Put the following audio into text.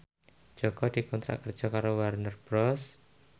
Jaka dikontrak kerja karo Warner Bros